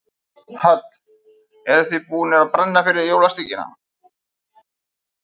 Hödd: Eruð þið búnir að brenna fyrir jólasteikinni?